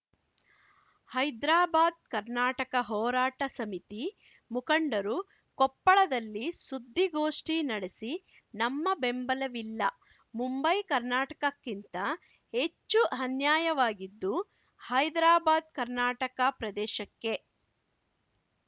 ಹೈದ್ರಾಬಾದ್‌ ಕರ್ನಾಟಕ ಹೋರಾಟ ಸಮಿತಿ ಮುಖಂಡರು ಕೊಪ್ಪಳದಲ್ಲಿ ಸುದ್ದಿಗೋಷ್ಠಿ ನಡೆಸಿ ನಮ್ಮ ಬೆಂಬಲವಿಲ್ಲ ಮುಂಬೈ ಕರ್ನಾಟಕಕ್ಕಿಂತ ಹೆಚ್ಚು ಅನ್ಯಾಯವಾಗಿದ್ದು ಹೈದ್ರಾಬಾದ್‌ ಕರ್ನಾಟಕ ಪ್ರದೇಶಕ್ಕೆ